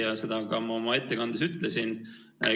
Ja seda ma ka oma ettekandes ütlesin.